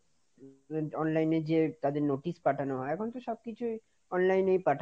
Online এ যে তাদের notice পাঠানো হয়, এখন তো সবকিছু এখন সব কিছু online এ;